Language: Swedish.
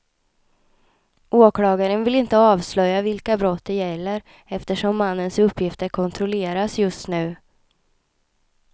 Åklagaren vill inte avslöja vilka brott det gäller, eftersom mannens uppgifter kontrolleras just nu.